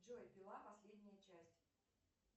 джой пила последняя часть